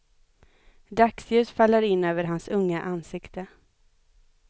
Dagsljus faller in över hans unga ansikte.